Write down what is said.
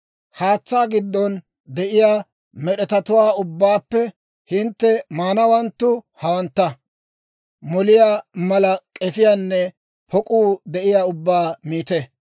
«Haatsaa giddon de'iyaa med'etatuwaa ubbaappe hintte maanawanttu hawantta; moliyaa mala k'efiinne pok'uu de'iyaa ubbaa miite.